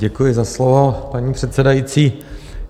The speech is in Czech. Děkuji za slovo, paní předsedající.